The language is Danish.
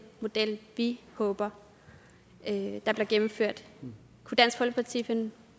model vi håber bliver gennemført kunne dansk folkeparti finde